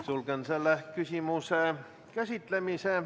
Sulgen selle küsimuse käsitlemise.